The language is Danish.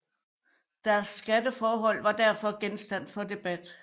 Deres skatteforhold var derfor genstand for debat